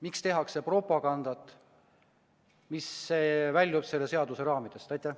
Miks tehakse propagandat, mis väljub selle seaduse raamidest?